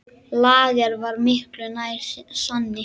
Lager var miklu nær sanni.